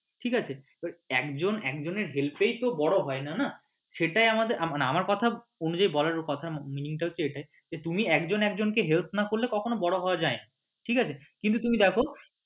ঠিক আছে এবার একজন একজনের help এই তো বড় হয়না না সেটাই আমাদের মানে আমার কথা উনি যে বলার কথার meaning টা হচ্ছে এটাই তুমি একজন একজনকে help না করলে কখনো বড় হওয়া যায়না ঠিক আছে কিন্তু তুমি দেখো